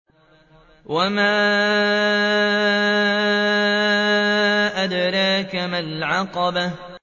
وَمَا أَدْرَاكَ مَا الْعَقَبَةُ